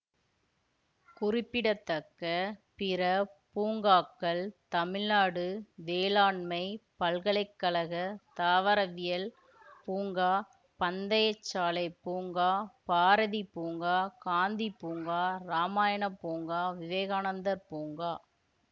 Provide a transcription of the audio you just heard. குறிப்பிடத்தக்க பிற பூங்காக்கள் தமிழ்நாடு வேளாண்மைப் பல்கலைக்கழகத் தாவரவியல் பூங்கா பந்தய சாலை பூங்கா பாரதி பூங்கா காந்தி பூங்கா இராமாயணப் பூங்கா விவேகானந்தர் பூங்கா